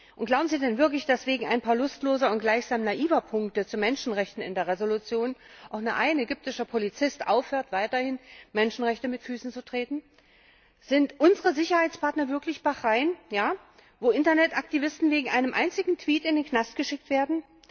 Und glauben Sie denn wirklich, dass wegen ein paar lustloser und gleichsam naiver Punkte zu Menschenrechten in der Entschließung auch nur ein ägyptischer Polizist aufhört, weiterhin Menschenrechte mit Füßen zu treten? Sind unsere Sicherheitspartner wirklich Staaten wie Bahrain, wo Internetaktivisten wegen eines einzigen Tweets in den Knast geschickt werden?